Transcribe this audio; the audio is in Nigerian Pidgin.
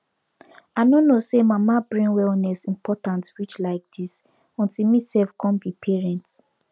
i no know say mama brain wellness important reach like dis until me sef come be parent